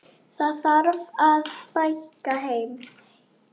Það þarf að fækka þeim.